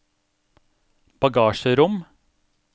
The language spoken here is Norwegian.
bagasjerom